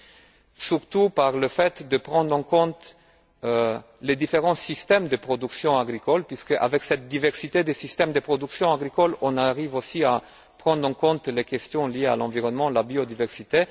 Cela passe surtout par la prise en compte des différents systèmes de production agricole puisque, avec cette diversité des systèmes de production agricole, on arrive aussi à prendre en compte les questions liées à l'environnement, la biodiversité.